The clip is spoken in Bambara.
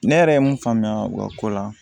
Ne yɛrɛ ye mun faamuya o ka ko la